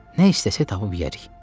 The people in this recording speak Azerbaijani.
Nə istəsək tapıb yeyərik.